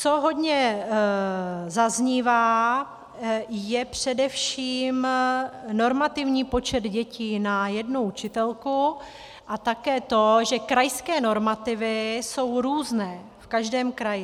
Co hodně zaznívá, je především normativní počet dětí na jednu učitelku a také to, že krajské normativy jsou různé v každém kraji.